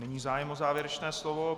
Není zájem o závěrečné slovo.